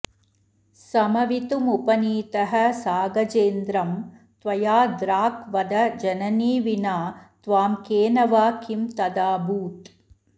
समवितुमुपनीतः सागजेन्द्रं त्वया द्राक् वद जननि विना त्वां केन वा किं तदाभूत्